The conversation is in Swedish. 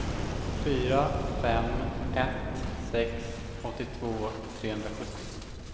fyra fem ett sex åttiotvå trehundrasjuttio